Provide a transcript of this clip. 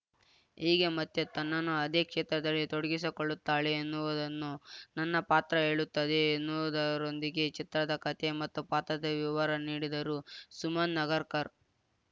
ಹೇಗೆ ಮತ್ತೆ ತನ್ನನ್ನು ಅದೇ ಕ್ಷೇತ್ರದಲ್ಲಿ ತೊಡಗಿಸಿಕೊಳ್ಳುತ್ತಾಳೆ ಎನ್ನುವುದನ್ನು ನನ್ನ ಪಾತ್ರ ಹೇಳುತ್ತದೆ ಎನ್ನುದರೊಂದಿಗೆ ಚಿತ್ರದ ಕತೆ ಮತ್ತು ಪಾತ್ರದ ವಿವರ ನೀಡಿದರು ಸುಮನ್‌ ನಗರ್‌ಕರ್‌